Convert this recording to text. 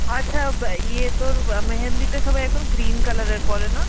আচ্ছা বা~ ইয়ে তোর বা মেহেন্দিতে সবাই এখন green color এর পরে না?